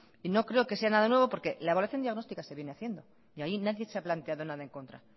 y no creo que sea nada nuevo porque la evaluación diagnóstica se viene haciendo y ahí nadie se ha planteado nada en contra